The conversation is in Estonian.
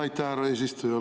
Aitäh, härra eesistuja!